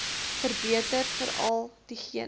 verbeter veral diegene